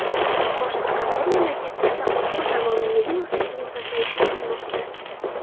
Boshqa qator mamlakatlarda umr davomiyligi o‘sishining pasayishi kutilmoqda.